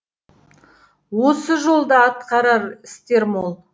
осы жол да атқарар істер мол